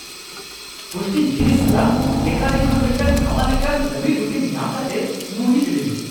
ᱯᱩᱥᱴᱤ ᱡᱤᱱᱤᱥ ᱥᱟᱞᱟᱜ ᱵᱮᱠᱟᱨᱤ ᱠᱷᱚᱱ ᱢᱤᱫᱴᱟᱝ ᱱᱟᱣᱟ ᱞᱮᱠᱟᱱ ᱞᱟᱹᱵᱤᱫ ᱨᱩᱴᱤ ᱧᱟᱢ ᱠᱟᱛᱮᱧ ᱢᱩᱦᱤᱛ ᱞᱤᱱᱟᱹᱧ ᱾